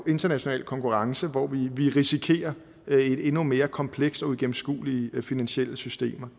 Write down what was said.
international konkurrence hvor vi risikerer endnu mere komplekse og uigennemskuelige finansielle systemer